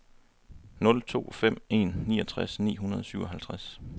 nul to fem en niogtres ni hundrede og syvoghalvtreds